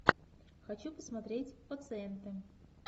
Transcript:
хочу посмотреть пациенты